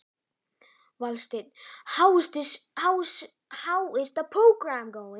Valsteinn, hvernig er dagskráin?